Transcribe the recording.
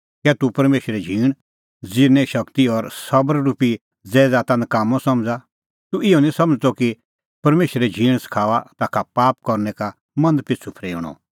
कै तूह परमेशरे झींण ज़िरने शगती और सबर रुपी ज़ैदाता नकाम्मअ समझ़ा तूह इहअ निं समझ़दअ कि परमेशरे झींण सखाऊआ ताखा पाप करनै का मन पिछ़ू फरेऊणअ